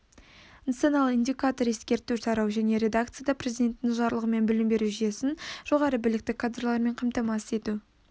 нысаналы индикатор ескерту тарау жаңа редакцияда президентінің жарлығымен білім беру жүйесін жоғары білікті кадрлармен қамтамасыз ету